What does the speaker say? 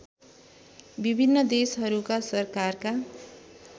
विभिन्न देशहरूका सरकारका